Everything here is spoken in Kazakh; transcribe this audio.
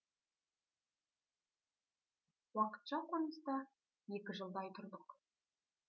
уақытша қоныста екі жылдай тұрдық